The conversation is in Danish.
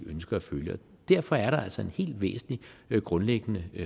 ønsker at følge og derfor er der altså en helt væsentlig grundlæggende